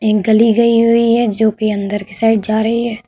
एक गली गई हुई है जोकि अंदर की साइड जा रही है।